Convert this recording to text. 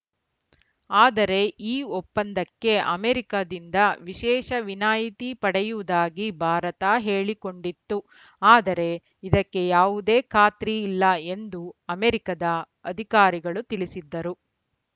ಆದರೆ ಈ ಒಪ್ಪಂದಕ್ಕೆ ಅಮೆರಿಕದಿಂದ ವಿಶೇಷ ವಿನಾಯಿತಿ ಪಡೆಯುವುದಾಗಿ ಭಾರತ ಹೇಳಿಕೊಂಡಿತ್ತು ಆದರೆ ಇದಕ್ಕೆ ಯಾವುದೇ ಖಾತ್ರಿ ಇಲ್ಲ ಎಂದು ಅಮೆರಿಕದ ಅಧಿಕಾರಿಗಳು ತಿಳಿಸಿದ್ದರು